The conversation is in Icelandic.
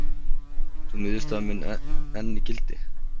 Sú niðurstaða mun enn í gildi.